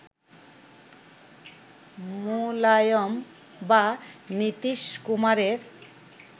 মুলায়ম বা নীতীশ কুমারের